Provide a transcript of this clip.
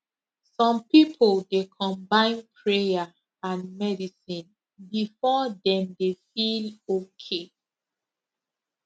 some people dey combine prayer and medicine before dem dey feel okay